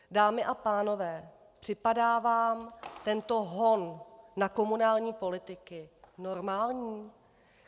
Dámy a pánové, připadá vám tento hon na komunální politiky normální?